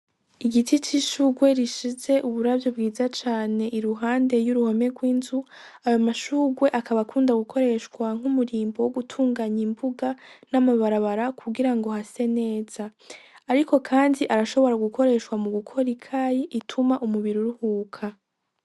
Igiti c'ishurwe rishize uburavyo bwiza cane iruhande y'uruhome rw'inzu ayo mashurwe akabakunda gukoreshwa nk'umurimbo wo gutunganya imbuga n'amabarabara kugira ngo hase neza, ariko, kandi arashobora gukoreshwa mu gukora i kayi ituma umubiri uruhuka.